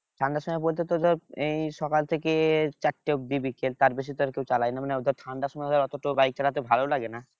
ঠান্ডার সময় বলতে তো ধর এই সকাল থেকে চারটা অব্দি বিকেল তার বেশি তো আর কেউ চালায় না মানে ধর ঠান্ডার সময় অত তো bike চালাতে ভালো লাগেনা